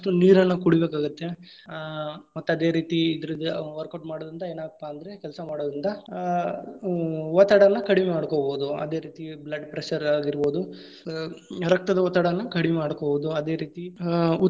ನೀರನ್ನ ಕುಡಿಬೇಕಾಗತ್ತೆ, ಆ ಮತ್ತ ಅದೇ ರೀತಿ ಇದ್ರದ್ workout ಮಾಡೋದ್ರಿಂದ ಏನಾಗತ್ತಪ್ಪಾ ಅಂದ್ರೆ ಅದರಿಂದಾ ಹ್ಮ್‌ ಒತ್ತಡ ಎಲ್ಲಾ ಕಡಮೆ ಮಾಡಕೋಬಹುದು. ಅದೇ ರೀತಿ blood pressure ಆಗಿರಬೋದು, ಆ ರಕ್ತದ ಒತ್ತಡವನ್ನು ಕಡಿಮೆ ಮಾಡಕೋಬಹುದು, ಅದೇ ರೀತಿ ಆ.